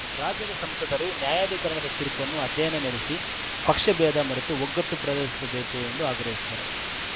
ರಾಜ್ಯದ ಸಂಸದರು ನ್ಯಾಯಾಧಿಕರಣದ ತೀರ್ಪನ್ನು ಅಧ್ಯಯನ ನಡೆಸಿ ಪಕ್ಷಭೇದ ಮರೆತು ಒಗ್ಗಟ್ಟು ಪ್ರದರ್ಶಿಸಬೇಕು ಎಂದು ಆಗ್ರಹಿಸಿದರು